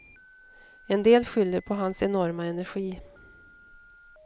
En del skyller på hans enorma energi.